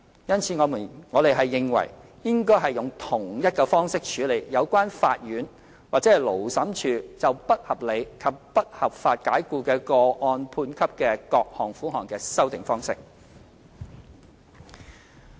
因此，我們認為應該用同一方式處理有關法院或勞審處就不合理及不合法解僱的個案判給的各項款項的修訂方式。